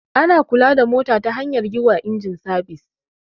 Ana kula da mota ta hanyar yi wa inji sabis.